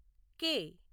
K